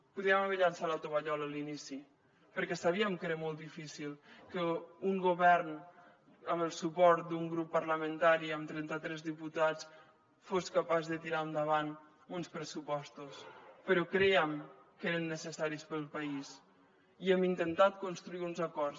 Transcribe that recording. podríem haver llançat la tovallola a l’inici perquè sabíem que era molt difícil que un govern amb el suport d’un grup parlamentari amb trenta tres diputats fos capaç de tirar endavant uns pressupostos però crèiem que eren necessaris per al país i hem intentat construir uns acords